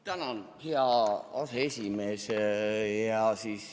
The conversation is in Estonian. Tänan, hea aseesimees!